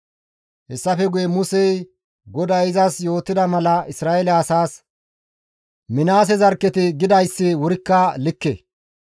Hessafe guye Musey GODAY izas yootida mala Isra7eele asaas, «Minaase zarkketi gidayssi wurikka likke.